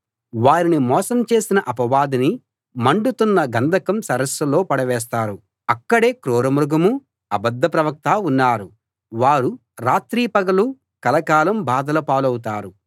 వారిని మోసం చేసిన అపవాదిని మండుతున్న గంధకం సరస్సులో పడవేస్తారు అక్కడే క్రూర మృగమూ అబద్ధ ప్రవక్తా ఉన్నారు వారు రాత్రీ పగలూ కలకాలం బాధల పాలవుతారు